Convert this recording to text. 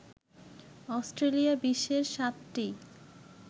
Australia বিশ্বের ৭টি